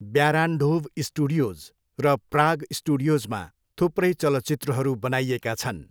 Barrandov studios र Prague स्टुडियोजमा थुप्रै चलचित्रहरू बनाइएका छन्।